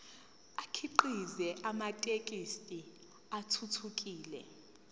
akhiqize amathekisthi athuthukile